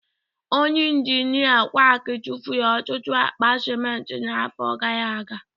Onye injinia quack tụfuru ọtụtụ akpa simenti n'afọ gara aga